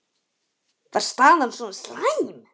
Var staðan svona slæm?